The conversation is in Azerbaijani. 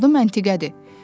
Adım Natiqədir.